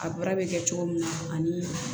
A baara bɛ kɛ cogo min na ani